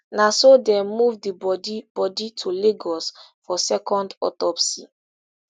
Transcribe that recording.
na so dem move di body body to lagos for second autopsy